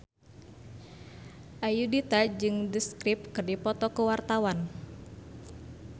Ayudhita jeung The Script keur dipoto ku wartawan